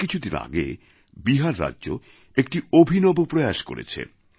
এই কিছু দিন আগে বিহার রাজ্য একটি অভিনব প্রয়াস করেছে